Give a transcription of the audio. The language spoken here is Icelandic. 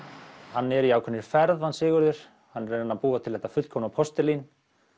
hann er í ákveðinni ferð hann Sigurður hann er að reyna að búa til þetta fullkomna postulín